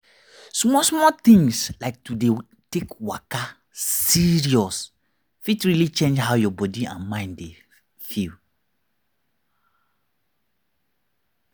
small small things like to dey take waka serious fit really change how your body and mind dey feel.